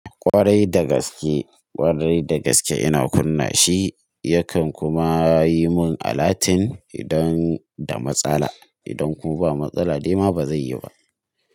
Ƙwarai da gaske, ƙwarai da gaske ina kunna shi yakan kuma yi mun alatun idan da matsala. Idan kuma ba matsala dai ma ba zai yi ba.